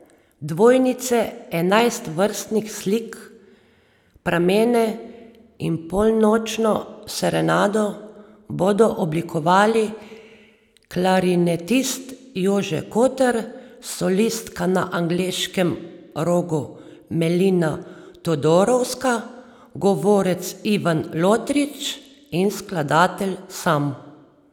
Dvojnice, Enajst vrtnih slik, Pramene in Polnočno serenado bodo oblikovali klarinetist Jože Kotar, solistka na angleškem rogu Melina Todorovska, govorec Ivan Lotrič in skladatelj sam.